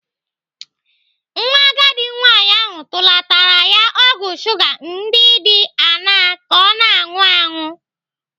Nwa agadi nwaanyị ahụ tụlatara ya ọgwụ shuga ndị dị aṅaa ka ọ na-anụ aṅụ.